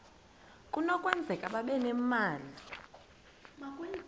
kunokwenzeka babe nemali